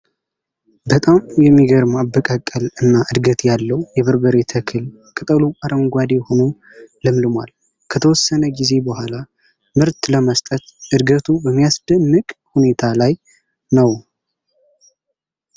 በጣም የሚገርም አበቃቀል እና እድገት ያለዉ የበርበሬ ተክል ቅጠሉ አረንጓዴ ሆኖ ለምልሟል። ከተወሰነ ጊዜ በኋላ ምርት ለመስጠት እድገቱ በሚያስደንቅ ሁኔታ ላይ ነዉ።